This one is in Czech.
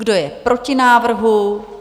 Kdo je proti návrhu?